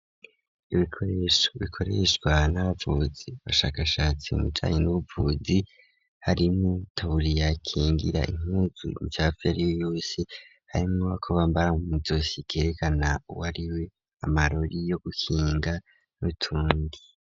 Ibikoresho bikoreshwa n'avuzi, abashakashatsi mubijanye n'ubuvuzi harimwo itaburiya ibakingira impuzu imicafu yariyo yose harimwo ako bampara mwizosi kerekana uwariwe amarori yo gukinga n'utundi.